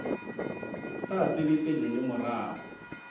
sa tsebe pele le morago